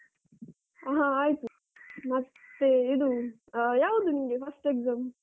ಹಾ ಆಯ್ತು. ಮತ್ತೆ ಇದು ಆ ಯಾವಾಗ ನಿಮ್ಗೆ first exam ?